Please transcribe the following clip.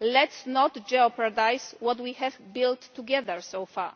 Let us not jeopardise what we have built together so far